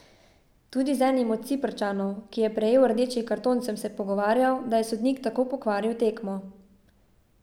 Tudi z enim od Ciprčanov, ki je prejel rdeči karton, sem se pogovarjal, da je sodnik tako pokvaril tekmo.